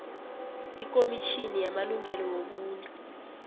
ikomitjhini yamalungelo wobuntu